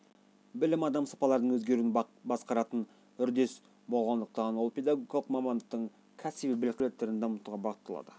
білім адам сапаларының өзгеруін басқаратын үрдіс болғандықтан ол педагогикалық мамандықтың кәсіби біліктілік қабілеттерін дамытуға бағытталады